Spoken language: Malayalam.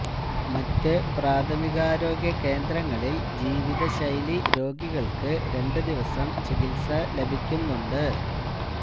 മറ്റ് പ്രാഥമികാരോഗ്യ കേന്ദ്രങ്ങളിൽ ജീവിത ശൈലിരോഗികൾക്ക് രണ്ട് ദിവസം ചികിത്സ ലഭിക്കുന്നുണ്ട്